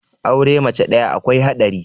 aure mace ɗaya akwai haɗari